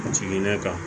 Jiginnen kan